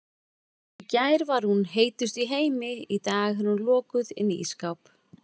Í gær var hún heitust í heimi, í dag er hún lokuð inni í ísskáp.